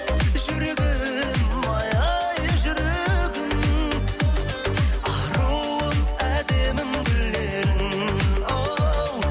жүрегім ай ай жүрегім аруым әдемім гүл едің оу